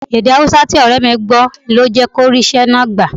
Èdè Haúsá tí ọ̀rẹ́ mi gbọ́ ni ó jẹ́ kí ó rí iṣẹ́ náà gbà